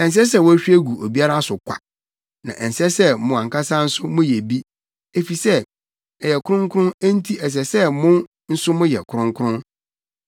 Ɛnsɛ sɛ wohwie gu obiara so kwa, na ɛnsɛ sɛ mo ankasa nso moyɛ bi, efisɛ ɛyɛ kronkron enti ɛsɛ sɛ mo nso moyɛ no kronkron.